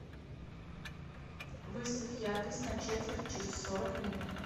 выставь яркость на четверть через сорок минут